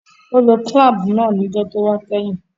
Ó lo clamp náà níjó tówá kẹ́hìn